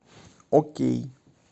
окей